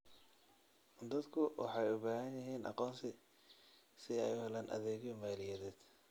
Dadku waxay u baahan yihiin aqoonsi si ay u helaan adeegyo maaliyadeed.